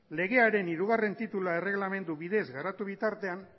legearen hirugarrena titulua erreglamendu bidez garatu bitartean